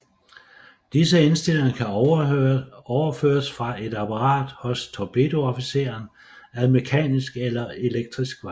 Disse indstillinger kan overføres fra et apparat hos torpedoofficeren ad mekanisk eller elektrisk vej